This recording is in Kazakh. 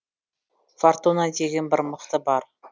фортуна деген бір мықты бар